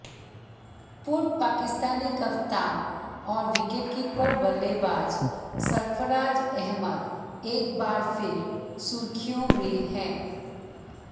पूर्व पाकिस्तानी कप्तान और विकेटकीपर बल्लेबाज सरफराज अहमद एक बार फिर सुर्खियों में है